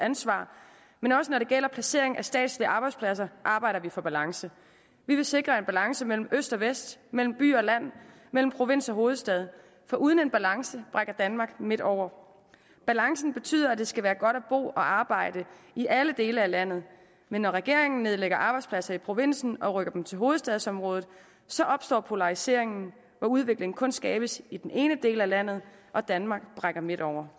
ansvar men også når det gælder placeringen af statslige arbejdspladser arbejder vi for balance vi vil sikre en balance mellem øst og vest mellem by og land mellem provins og hovedstad for uden en balance brækker danmark midt over balancen betyder at det skal være godt at bo og arbejde i alle dele af landet men når regeringen nedlægger arbejdspladser i provinsen og rykker dem til hovedstadsområdet så opstår polariseringen hvor udvikling kun skabes i den ene del af landet og danmark brækker midt over